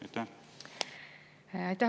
Aitäh!